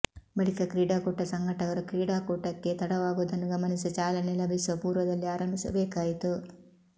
ಬಳಿಕ ಕ್ರೀಡಾಕೂಟ ಸಂಘಟಕರು ಕ್ರೀಡಾಕೂಟಕ್ಕೆ ತಡವಾಗುವುದನ್ನು ಗಮನಿಸಿ ಚಾಲನೆ ಲಭಿಸುವ ಪೂರ್ವದಲ್ಲಿ ಆರಂಭಿಸಬೇಕಾಯಿತು